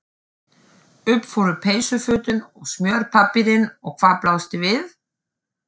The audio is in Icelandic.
Upp fóru peysufötin og smjörpappírinn og hvað blasti við?